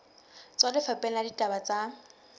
tswa lefapheng la ditaba tsa